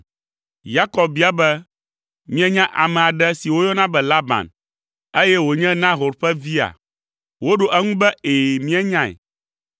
Yakob bia be, “Mienya ame aɖe si woyɔna be Laban, eye wònye Nahor ƒe via?” Woɖo eŋu be, “Ɛ̃, míenyae.”